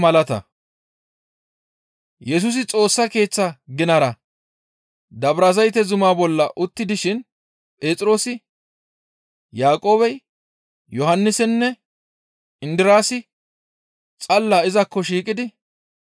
Yesusi Xoossa Keeththa ginara Dabrazayte zumaa bolla utti dishin Phexroosi, Yaaqoobey, Yohannisinne Indiraasi xalla izakko shiiqidi,